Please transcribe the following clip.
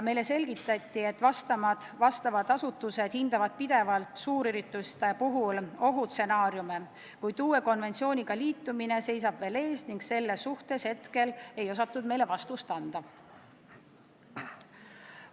Meile selgitati, et asjaomased asutused hindavad suurürituste puhul alati ohustsenaariume, kuid uue konventsiooniga liitumine seisab veel ees ning selle kohta ei osatud meile täpset vastust anda.